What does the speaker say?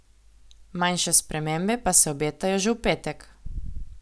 Manjše spremembe pa se obetajo že v petek.